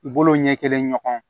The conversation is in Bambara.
Bolo ɲɛ kelen ɲɔgɔn